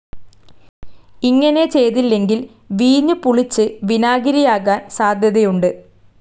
ഇങ്ങനെ ചെയ്തില്ലെങ്കിൽ വീഞ്ഞ് പുളിച്ച് വിനാഗിരിയാകാൻ സാധ്യതയുണ്ട്.